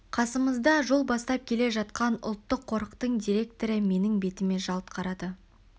қасымызда жол бастап келе жатқан ұлттық қорықтың директоры менің бетіме жалт қарады